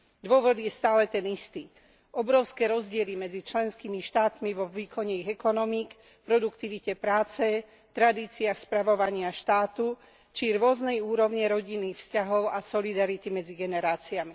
Dôvod je stále ten istý obrovské rozdiely medzi členskými štátmi vo výkone ich ekonomík, v produktivite práce, tradíciách spravovania štátu, či rôzna úroveň rodinných vzťahov a solidarity medzi generáciami.